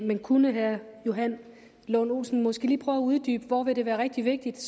men kunne herre johan lund olsen måske lige prøve at uddybe hvor det ville være rigtig vigtigt